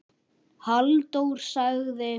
Halldór sagði